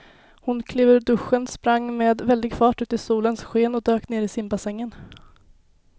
Hon klev ur duschen, sprang med väldig fart ut i solens sken och dök ner i simbassängen.